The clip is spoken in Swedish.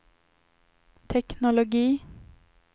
teknologi